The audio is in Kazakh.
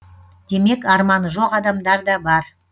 демек арманы жоқ адамдар да бар